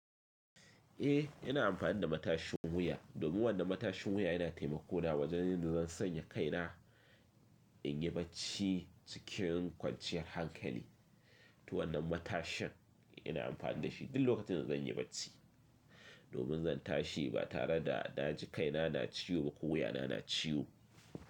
Eh, ina amfani da matashin wuya domin wannan matashin wuya yana taimako na wajen yadda zan sanya kai na in yi bacci cikin kwanciyar hankali. To wannan matashin ina amfani da shi duk lokacin da zan yi bacci domin zan tashi ba tare da na ji kai na na ciwo ba ko wuya na na ciwo.